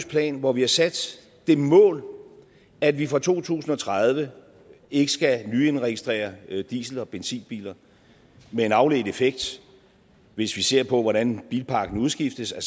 plan hvor vi har sat det mål at vi fra to tusind og tredive ikke skal nyindregistrere diesel og benzinbiler med den afledte effekt hvis vi ser på hvordan bilparken udskiftes at